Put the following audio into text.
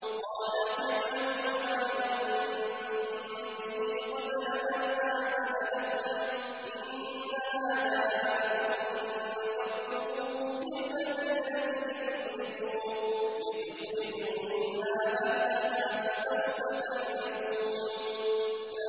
قَالَ فِرْعَوْنُ آمَنتُم بِهِ قَبْلَ أَنْ آذَنَ لَكُمْ ۖ إِنَّ هَٰذَا لَمَكْرٌ مَّكَرْتُمُوهُ فِي الْمَدِينَةِ لِتُخْرِجُوا مِنْهَا أَهْلَهَا ۖ فَسَوْفَ تَعْلَمُونَ